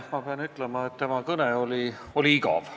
Ma pean ütlema, et tema kõne oli igav.